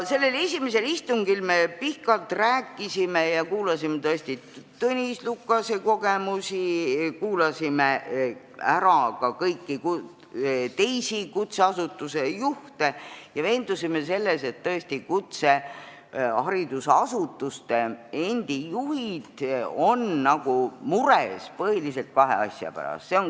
Esimesel istungil me rääkisime pikalt ja kuulasime Tõnis Lukase kogemusi, kuulasime ära ka kõik teised kutseharidusasutuste juhid ja veendusime selles, et nad on mures põhiliselt kahe asja pärast.